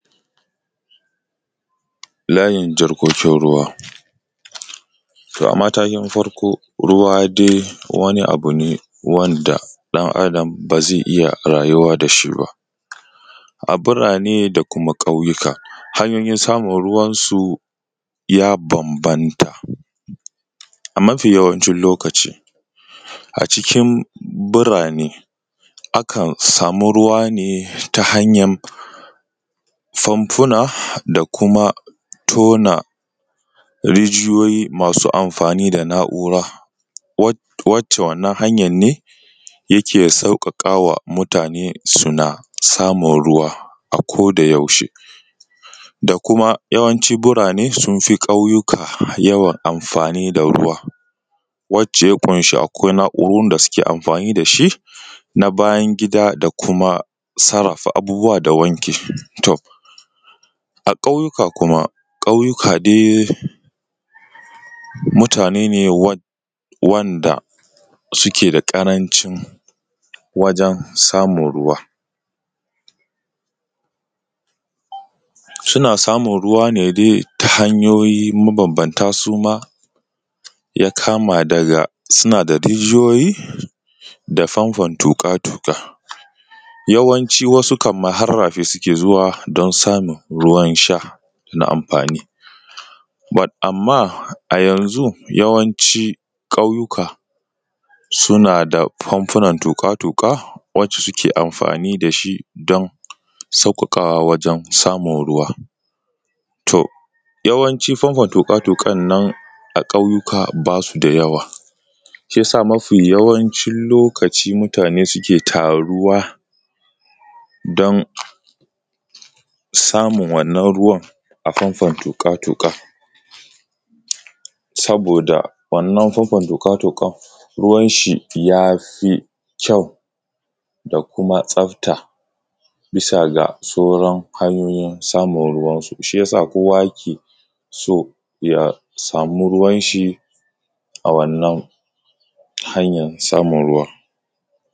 Layin jarkokin ruwa, matakin farko ruwa dai wani abu ne wanda ɗan Adam ba zai iya rayuwa babu shi ba. A burane da kuma ƙauyuka, hanyoyin samun ruwa ya bambanta. A mafi yawancin lokaci a cikin burane akan sama ruwa ne ta hanyar fanfuna. Da kuma tona rijiyoyi masu amfani da hannu ɗaya wacce wannan hanyar ne yake sauƙaƙa wa mutane suna samun ruwa a koyaushe. Da kuma yawanci burane sun fi ƙauyuka yawan amfani da ruwa wacce ya kun shi akwai na'urorin da suke amfani da shi na bayan gida da kuma sarrafa abubuwa da wanki. To. A ƙauyuka kuma ƙauyuka dai mutane ne wanda suke da ƙarancin wajen samun ruwa. Suna samun ruwa ne dai ta hanyoyin matabbata su ma ya kama daga suna da rijiyoyi da famfan tuƙa-tuƙa yawanci wasu har rafi suke zuwa don samun ruwan sha na amfani. Amma a yanzu ƙauyuka suna da famfunan tuƙa-tuƙa wacce suke amfani da shi don sauƙaƙawa wajen samun ruwa. To yawancin famfan tuƙa-tuƙa a ƙauyuka ba su da yawa, shi ya sa mafi yawancin lokaci mutane suke tara ruwa don samun wannan ruwan a famfan tuƙa-tuƙan. Saboda wannan famfan tuƙa-tuƙa yawanci ya fi ƙyau da kuma tsafta bisa ga sauran hanyoyin samun ruwansu. Shi ya sa kowa yake so ya sama ruwansa a wannan hanyar samun ruwan.